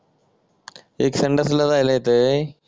एक संडासला जायला येते